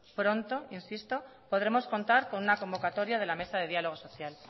pronto insisto podremos contar con una convocatoria de la mesa de diálogo social